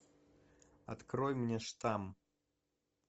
открой мне штамм